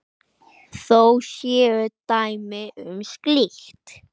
Þó séu dæmi um slíkt.